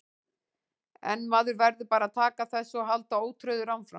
En maður verður bara að taka þessu og halda ótrauður áfram.